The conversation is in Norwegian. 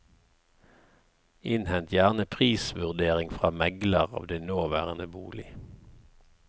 Innhent gjerne prisvurdering fra megler av din nåværende bolig.